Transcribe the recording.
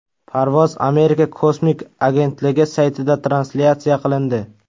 Parvoz Amerika kosmik agentligi saytida translyatsiya qilindi .